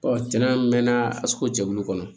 cɛnna an mɛ na a suku jɛkulu kɔnɔ